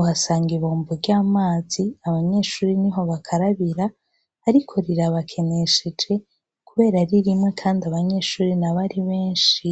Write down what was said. uhasanga ibombo ry’amazi abanyeshure niho bakarabira ariko rirabakenesheje kubera ririmwo kandi abanyeshure nabo ari benshi.